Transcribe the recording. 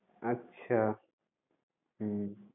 আচ্ছা হুম